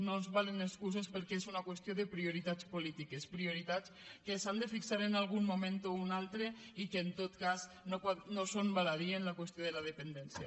no ens valen excuses perquè és una qüestió de prioritats polítiques prioritats que s’han de fixar en algun moment o un altre i que en tot cas no són fútils en la qüestió de la dependència